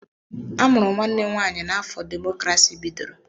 Amụrụ nwanne m nwaanyị n'afọ demokrasi bidoro.